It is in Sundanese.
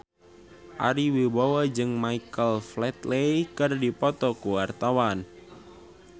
Ari Wibowo jeung Michael Flatley keur dipoto ku wartawan